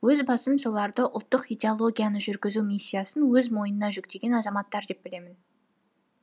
өз басым соларды ұлттық идеологияны жүргізу миссиясын өз мойнына жүктеген азаматтар деп білемін